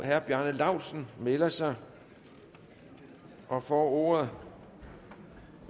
herre bjarne laustsen melder sig og får ordet